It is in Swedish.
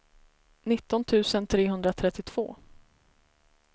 nitton tusen trehundratrettiotvå